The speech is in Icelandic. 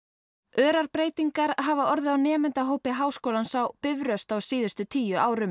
örar breytingar hafa orðið á nemendahópi Háskólans á Bifröst á síðustu tíu árum